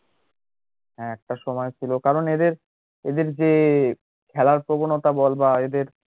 হ্যাঁ একটা সময় ছিল কারণ এদের এদের যে খেলার প্রবণতা বল বা এদের